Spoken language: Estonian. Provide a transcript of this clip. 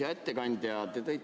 Hea ettekandja!